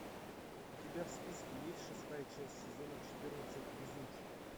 у тебя в списке есть шестая часть сезона четырнадцать везунчик